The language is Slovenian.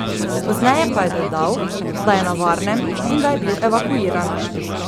Pozneje pa je dodal, da je na varnem in da je bil evakuiran.